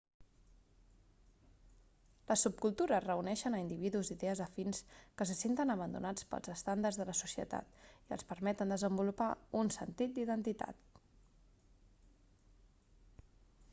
les subcultures reuneixen a individus d'idees afins que se senten abandonats pels estàndards de la societat i els permeten desenvolupar un sentit d'identitat